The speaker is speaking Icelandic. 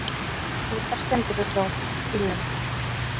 Litlar skemmdir urðu á bílnum.